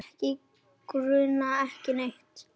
Okkur grunar ekki neitt.